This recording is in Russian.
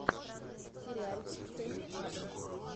сериальчик с эми адамс